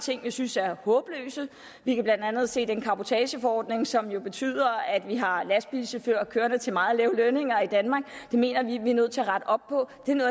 ting vi synes er håbløse vi kan blandt andet se den cabotageforordning som jo betyder at vi har lastbilchauffører kørende til meget lave lønninger i danmark det mener vi at vi er nødt til at rette op på